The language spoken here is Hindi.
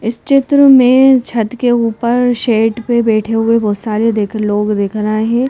इस चित्र में छत के ऊपर शेड पर बैठे हुए बहुत सारे देख लोग दिख रहे हैं।